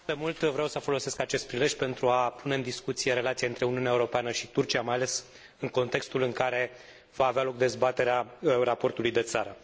De mult timp vreau să folosesc acest prilej pentru a pune în discuție relația dintre Uniunea Europeană și Turcia, mai ales în contextul în care va avea loc dezbaterea raportului de țară.